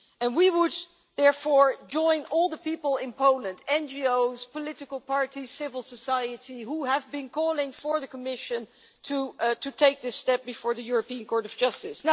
We would therefore join all the people in Poland NGOs, political parties, civil society who have been calling for the Commission to take this step before the European Court of Justice.